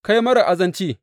Kai, marar azanci!